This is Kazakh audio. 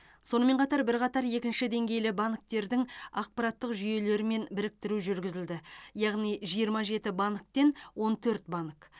сонымен қатар бірқатар екінші деңгейлі банктердің ақпараттық жүйелерімен біріктіру жүргізілді яғни жиырма жеті банктен он төрт банк